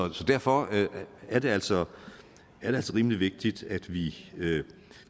derfor er det altså rimelig vigtigt at vi